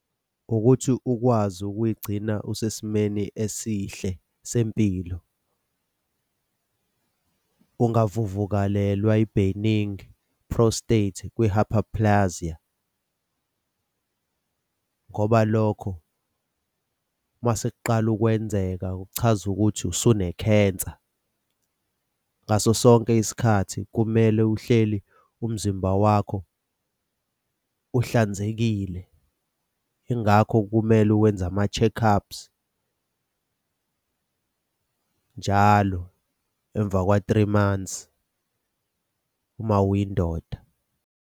Ukuthi ukwazi ukuyigcina usesimeni esihle sempilo. Ungavuvukalelwa i-benign prostate kwi-hyperplasia, ngoba lokho uma sekuqala ukwenzeka kuchaza ukuthi usune-cancer. Ngaso sonke isikhathi kumele uhleli umzimba wakho uhlanzekile. Yingakho kumele uwenze ama-check-ups njalo emva kwa-three months uma uyindoda.